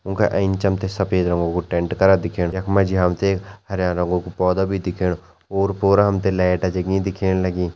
उंका एंच हमतें सफ़ेद रंगा कु टेंट करा दिखेण यखमा जी हमतें एक हरया रंगु कु पौधा भी दिखेणु ओर-पोर हमतें लैट जगीं दिखेण लगीं।